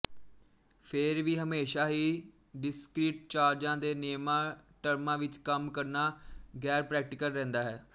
ਫੇਰ ਵੀ ਹਮੇਸ਼ਾ ਹੀ ਡਿਸਕ੍ਰੀਟ ਚਾਰਜਾਂ ਦੇ ਨਿਯਮਾਂ ਟਰਮਾਂ ਵਿੱਚ ਕੰਮ ਕਰਨਾ ਗੈਰਪ੍ਰੈਕਟੀਕਲ ਰਹਿੰਦਾ ਹੈ